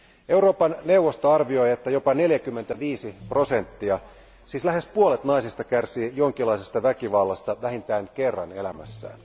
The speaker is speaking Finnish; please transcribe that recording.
Euroopan neuvosto arvioi, että jopa 45 prosenttia, siis lähes puolet naisista kärsii jonkinlaisesta väkivallasta vähintään kerran elämässään.